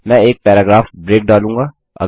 मैं एक paragraph break डालूँगा